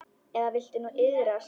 Eða viltu nú iðrast?